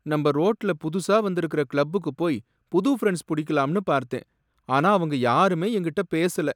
நம்ப ரோட்ல புதுசா வந்திருக்கற கிளப்புக்கு போய் புது ஃப்ரண்ட்ஸ் புடிக்கலான்னு பார்த்தேன், ஆனா அவங்க யாருமே என்கிட்ட பேசல.